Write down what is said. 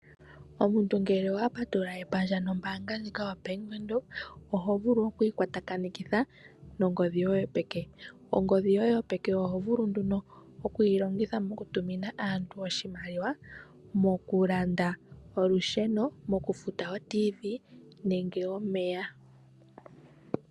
Omuntu ngele owapatulula epandja nombaanga ndjika yo Bank Windhoek ohovulu okwiikwatakanekitha nongodhi yoye yopeke. Ongodhi yoye yopeke ohovulu nduno okuyilongitha mokutumina aantu oshimaliwa, mokulanda olusheno, okufuta oTV nenge omeya.